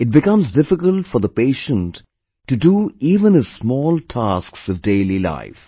It becomes difficult for the patient to do even his small tasks of daily life